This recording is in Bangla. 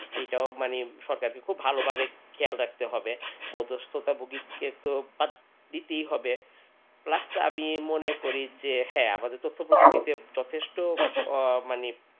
সেটাও মানে সরকার খুব ভালোভাবে খেয়াল রাখতে হবে মধ্যস্থ ভুগিক্কেত দিতেই হবে plus আমি মনে করি যে হ্যাঁ তথ্য প্রযুক্তিতে যথেষ্ট আ মানে.